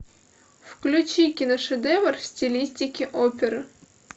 включи киношедевр в стилистике опера